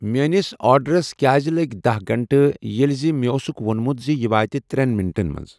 میٲنِس آڈرَس کیٛازِ لٔگۍ دٔہ گنٛٹہٕ ییٚلہِ زِ مےٚ اوسُکھ وونمُت زِ یہِ واتہِ ترٛؠن منٹَن منٛز۔